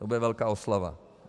To bude velká oslava.